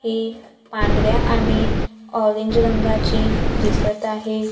एक पांढऱ्या आणि ऑरेंज रंगाची दिसत आहे.